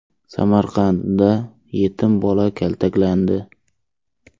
Samarqandda yetim bola kaltaklandi .